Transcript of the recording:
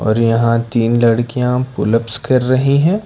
और यहां तीन लड़कियां पुल अप्स कर रहे हैं।